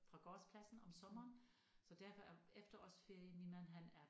Fra gårdspladsen om sommeren så derfor er efterårsferien min mand han er